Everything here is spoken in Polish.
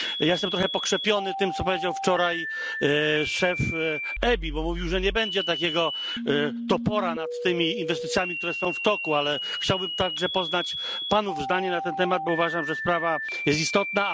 Jestem trochę pokrzepiony tym, co powiedział wczoraj szef EBI, bo mówił, że nie będzie takiego topora nad tymi inwestycjami, które są w toku, ale chciałbym także poznać Panów zdanie na ten temat, bo uważam, że sprawa jest istotna.